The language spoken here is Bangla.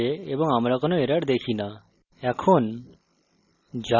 file সফলভাবে compiled করা হয়েছে এবং আমরা কোনো errors দেখি no